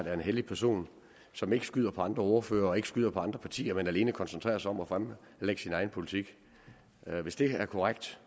er en hellig person som ikke skyder på andre ordførere og ikke skyder på andre partier men alene koncentrerer sig om at fremlægge sin egen politik hvis det er korrekt